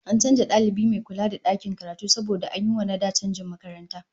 An canza dalibi mai kula da dakin karatu saboda an yi wa na da canjin makaranta